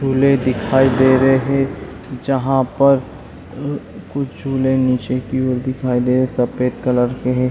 पुले दिखाई दे रही जहां पर और कुछ झूले दिखाई दे सफ़ेद कलर के हैं।